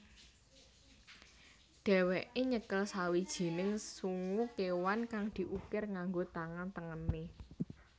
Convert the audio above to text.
Dheweke nyekel sawijining sungu kewan kang diukir nganggo tangan tengene